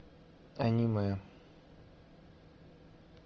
аниме